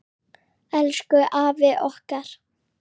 Elsku afi okkar.